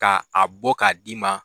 Ka a bɔ ka d'i ma